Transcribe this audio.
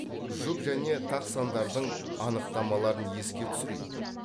жұп және тақ сандардың анықтамаларын еске түсірейік